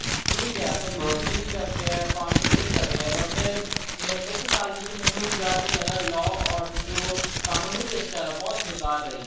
ਠੀਕ ਐ ਆਪਾਂ ਬਿਜਲੀ free ਕਰ ਰਹੇ ਹਾਂ ਪਾਣੀ free ਕਰ ਰਹੇ ਹਾਂ but ਇੱਕ ਸਾਲ ਵਿੱਚ ਮੈਨੂੰ ਜਿਆਦਾ ਤੋਂ ਜਿਆਦਾ law order ਜੋ ਕਾਨੂੰਨੀ ਵਿਵਸਥਾ ਹੈ ਬਹੁਤ ਬੇਕਾਰ ਰਹੀ